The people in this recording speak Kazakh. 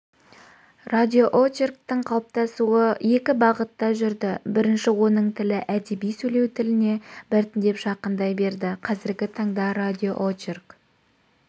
радиоочерктің қалыптасуы екі бағытта жүрді бірінші оның тілі әдеби-сөйлеу тіліне біртіндеп жақындай берді қазіргі таңда радиоочерк